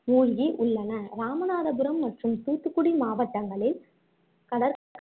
மூழ்கி உள்ளன இராமநாதபுரம் மற்றும் தூத்துக்குடி மாவட்டங்ககளில் கடற்~